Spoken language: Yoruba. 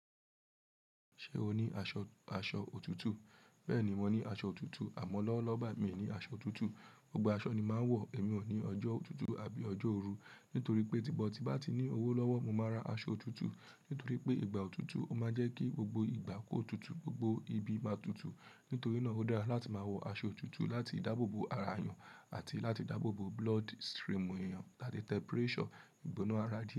Ṣé o ní aṣọ, aṣọ òtútù? Bẹ́ẹ̀ni, mo ní aṣọ òtútù, àmọ́ lọ́wọ́lọ́wọ́ bà mí ní aṣọ òtútù. Gbogbo aṣọ ni máa ń wọ̀, èmi ò ní ọjọ́ òtútù àbí ọjọ́ oòru. Nítorí pé tímo tí bá ti ní owó lọ́wọ́, mo máa ra aṣọ òtútù. Nítorí pé ìgbà òtútù, ó máa ń jẹ́ kí gbogbo ìgbà kó tutù, gbogbo ibi máa tutù. Nítorí náà ó dára láti máa wọ aṣọ òtútù láti dáàbòbo ara èèyàn àti láti dáàbòbo bloodstream èèyàn láti temperature ìgbóná ara jẹ.